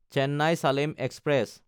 Chennai-Salem express